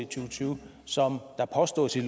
og tyve som der påstås i